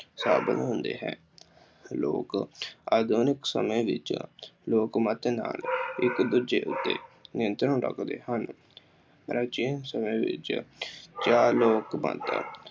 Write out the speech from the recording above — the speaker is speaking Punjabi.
ਸਾਧਨ ਹੁੰਦੇ ਹੈ। ਲੋਕ ਆਧੁਨਿਕ ਸਮੇਂ ਵਿੱਚ ਲੋਕਮੱਤ ਨਾਲ ਇੱਕ ਦੂਜੇ ਉੱਤੇ ਨਿਯੰਤਰਣ ਰੱਖਦੇ ਹਨ। ਪ੍ਰਾਚੀਨ ਸਮੇਂ ਵਿੱਚ ਲੋਕ ਬਣਤਰ